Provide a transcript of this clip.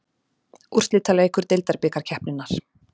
Úrslitaleikur deildabikarkeppninnar.